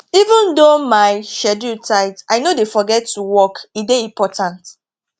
even though my schedule tight i no dey forget to walk e dey important